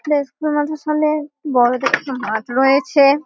একটা স্কুল মাঠের সামনে বড় দেখে একটা মাঠ রয়েছে ।